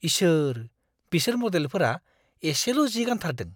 इसोर ! बिसोर मडेलफोरा एसेल' जि गान्थारदों।